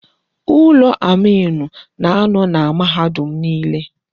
Ulọ amiinụ na-anọ na mahadum niile.